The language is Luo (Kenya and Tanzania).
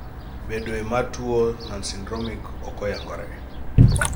e bedoe mar tuo nonsyndromic ok oyangore